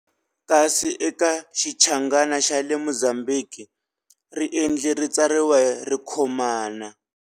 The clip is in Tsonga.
Kasi eka Xinchangana xa le Mozambique riendli ri tsariwa ri khomana.